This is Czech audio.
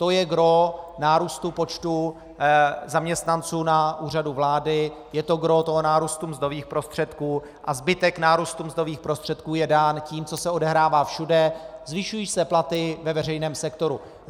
To je gros nárůstu počtu zaměstnanců na Úřadu vlády, je to gros toho nárůstu mzdových prostředků, a zbytek nárůstu mzdových prostředků je dán tím, co se odehrává všude - zvyšují se platy ve veřejném sektoru.